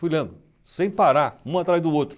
Fui lendo sem parar, um atrás do outro.